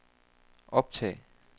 optag